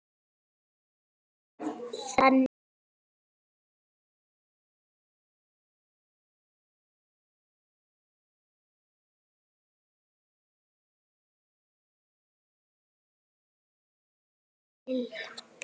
Þannig var Lillý.